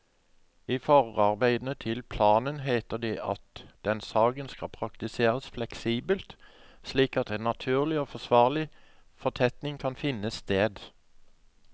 I forarbeidene til planen heter det at den skal praktiseres fleksibelt, slik at en naturlig og forsvarlig fortetting kan finne sted.